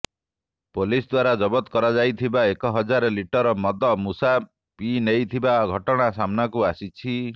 police ଦ୍ୱାରା ଜବତ କରାଯାଇଥିବା ଏକ ହଜାର ଲିଟର ମଦ ମୂଷା ପିଇନେଇଥିବା ଘଟଣା ସାମ୍ନାକୁ ଆସିଛି